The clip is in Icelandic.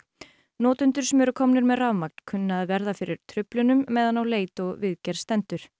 notendur sem eru komnir með rafmagn kunna að verða fyrir truflunum meðan á leit og viðgerð stendur